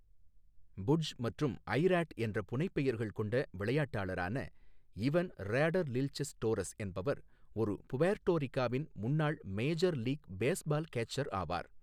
புட்ஜ் மற்றும் I Rod என்ற புனைப்பெயர்கள் கொண்ட விளையாட்டாளரான இவன் ராடர்லில்செஸ் டோரஸ் என்பவர் ஒரு புவேர்ட்டோ ரிக்காவின் முன்னாள் மேஜர் லீக் பேஸ்பால் கேச்சர் ஆவார்.